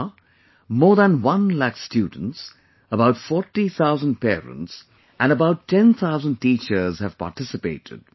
So far, more than one lakh students, about 40 thousand parents, and about 10 thousand teachers have participated